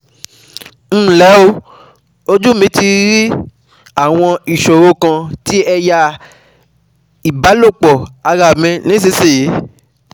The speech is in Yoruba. Nle o, Ojú mi ti ń rí àwọn ìṣòro kan ní eya eya ìbálòpọ̀ ara mi nísinsìnyí